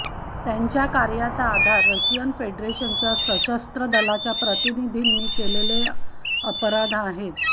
त्यांच्या कार्याचा आधार रशियन फेडरेशनच्या सशस्त्र दलाच्या प्रतिनिधींनी केलेले अपराध आहेत